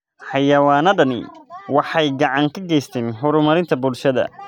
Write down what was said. Xayawaanadani waxay gacan ka geystaan ??horumarinta bulshada.